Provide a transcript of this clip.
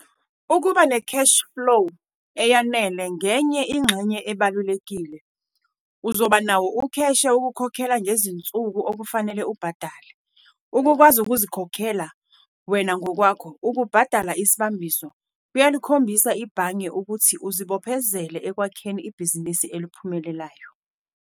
Ukuba ne-cash -flow eyanele ngenye ingxenye ebalulekile - uzoba nawo ukheshe wokukhokha ngezinsuku okufanele ubhadale. Ukukwazi ukuzikhokhela wena ngokwakho, ukubhadala isibambiso, kuyalikhombisa ibhange ukuthi uzibophezele ekwakheni ibhizinisi eliphumelelayo.